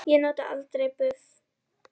Ég nota aldrei buff.